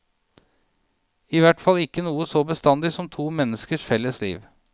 I hvert fall ikke noe så bestandig som to menneskers felles liv.